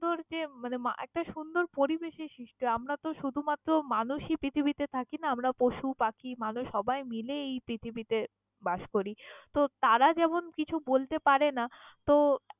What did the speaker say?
একটা সুন্দর পরিবেশ এ আমারা তো শুধুমাত্র মানুষই পৃথিবীতে থাকি না আমারা পশুপাখি মানুষ সবাই মিলে এই পৃথিবীতে বাস করি তো তারা যেমন কিছু বলতে পারে না তো।